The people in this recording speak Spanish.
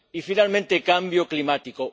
Y, finalmente, cambio climático.